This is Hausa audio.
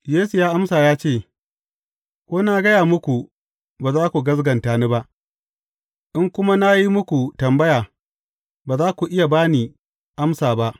Yesu ya amsa ya ce, Ko na gaya muku, ba za ku gaskata ni ba, in kuma na yi muku tambaya ba za ku iya ba ni amsa ba.